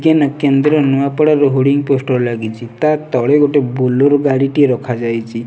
କେନ କେନ୍ଦ୍ର ନୂଆପଡ଼ାର ହୁଡିଙ୍ଗ ପୋଷ୍ଟର ଲାଗିଚି ତା ତଳେ ଗୋଟେ ବୁଲର ଗାଡିଟି ରଖାଯାଇଚି।